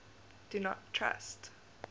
do not trust